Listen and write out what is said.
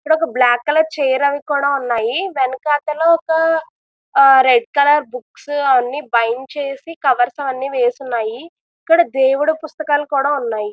ఇక్కడ ఒక black colour chair అవి కూడా ఉన్నాయి వెనకాతల ఒక రెడ్ కలర్ బుక్స్ అన్ని బైండ్ చేసి కవర్స్ అవి అన్ని వేసి ఉన్నాయి ఇక్కడ దేవుడు పుస్తకాలు కూడా ఉన్నాయి.